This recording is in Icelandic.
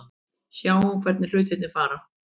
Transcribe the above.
Sjáum hvernig hlutirnir fara.